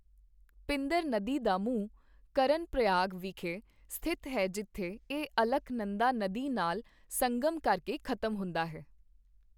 ਪਿੰਦਰ ਨਦੀ ਦਾ ਮੂੰਹ ਕਰਨਪ੍ਰਯਾਗ ਵਿਖੇ ਸਥਿਤ ਹੈ ਜਿੱਥੇ ਇਹ ਅਲਕਨੰਦਾ ਨਦੀ ਨਾਲ ਸੰਗਮ ਕਰਕੇ ਖ਼ਤਮ ਹੁੰਦਾ ਹੈ।